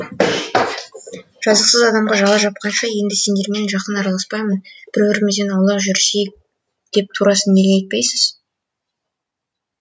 жазықсыз адамға жала жапқанша енді сендермен жақын араласпаймын бір бірімізден аулақ жүрісейік деп турасын неге айтпайсыз